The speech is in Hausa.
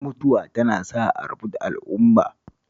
Mutuwa tana sa a rabu da al'umma